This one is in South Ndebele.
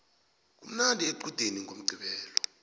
kumnandi equdeni ngomqqibelo